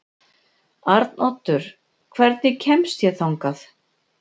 Arnoddur, hvernig kemst ég þangað?